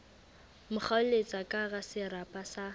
mo kgaoletsa kahara serapa sa